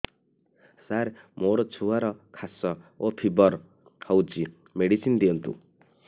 ସାର ମୋର ଛୁଆର ଖାସ ଓ ଫିବର ହଉଚି ମେଡିସିନ ଦିଅନ୍ତୁ